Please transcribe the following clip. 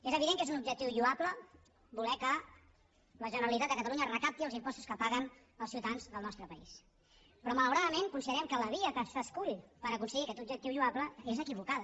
és evident que és un objectiu lloable voler que la generalitat de catalunya recapti els impostos que paguen els ciutadans del nostre país però malauradament considerem que la via que s’escull per aconseguir aquest objectiu lloable és equivocada